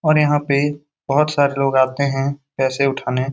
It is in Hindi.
और यहाँ पे बहुत सारे लोग आते है पैसे उठाने ।